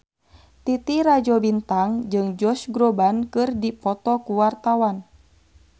Titi Rajo Bintang jeung Josh Groban keur dipoto ku wartawan